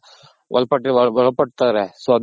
ಒಳಪಟ್ ಒಳಪಡ್ತಾರೆ so ಅದಕ್ಕೆ